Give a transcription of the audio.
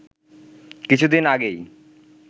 কিছুদিন আগেই